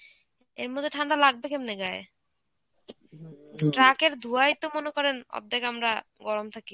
এর মধ্যে ঠান্ডা লাগবে কেমনে গায়ে? ট্রাকের ধোঁয়ায় তো মনে করেন অর্ধেক আমরা গরম থাকি.